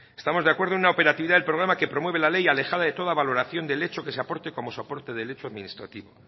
estamos de acuerdo en una operatividad del programa que promueve la ley alejada de toda valoración del hecho que se aporte como soporte del hecho administrativo